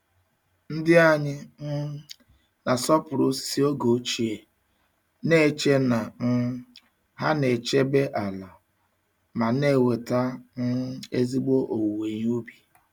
Ndị anyị um na-asọpụrụ osisi oge ochie, na-eche na um ha na-echebe ala ma na-eweta um ezigbo owuwe ihe ubi.